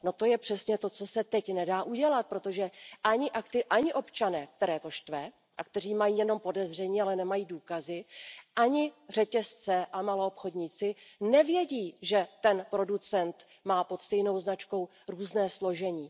To je přesně to, co se teď nedá udělat, protože ani občané, které to štve a kteří mají jenom podezření, ale nemají důkazy, ani řetězce a maloobchodníci nevědí, že ten producent má pod stejnou značkou různé složení.